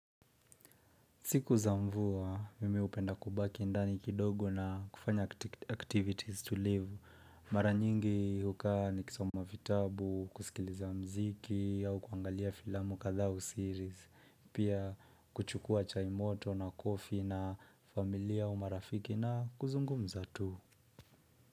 Siku za mvua, mimi hupenda kubaki ndani kidogo na kufanya activities to live. Mara nyingi hukaa nikisoma vitabu, kusikiliza mziki, au kuangalia filamu kadhaa au series, pia kuchukua chai moto na coffee na familia au marafiki na kuzungumuza tu.